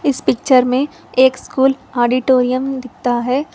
इस पिक्चर में एक स्कूल ऑडिटोरियम दिखता है।